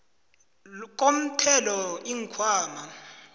komthelo iinkhwama